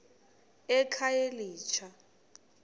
ekhayelitsha